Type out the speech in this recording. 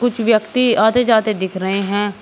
कुछ व्यक्ति आते जाते दिख रहे हैं।